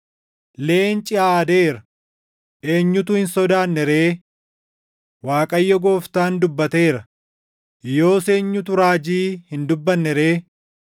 Leenci aadeera; eenyutu hin sodaanne ree? Waaqayyo Gooftaan dubbateera; yoos eenyutu raajii hin dubbanne ree?